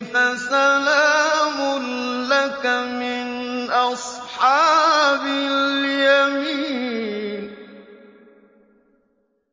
فَسَلَامٌ لَّكَ مِنْ أَصْحَابِ الْيَمِينِ